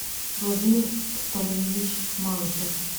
владимир стальевич малышев